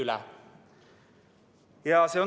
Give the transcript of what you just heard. See on traagiline.